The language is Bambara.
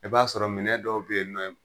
I b'a sɔrɔ minɛn dɔw be yen nɔ